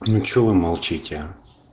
что вы молчите а